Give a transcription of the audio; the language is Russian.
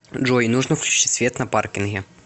джой нужно включить свет на паркинге